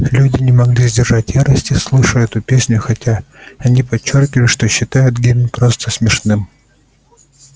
люди не могли сдержать ярости слыша эту песню хотя они подчёркивали что считают гимн просто смешным